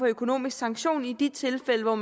økonomisk sanktion i de tilfælde hvor